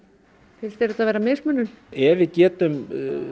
finnst þér þetta vera mismunun ef við getum